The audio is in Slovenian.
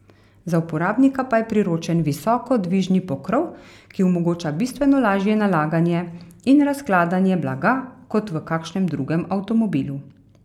Za uporabnika pa je priročen visoko dvižni pokrov, ki omogoča bistveno lažje nalaganje in razkladanje blaga kot v kakšnem drugem avtomobilu.